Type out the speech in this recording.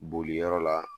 Boli yɔrɔ la